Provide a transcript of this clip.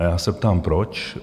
A já se ptám - proč?